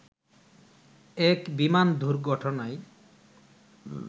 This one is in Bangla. এক বিমান দুর্ঘটনায়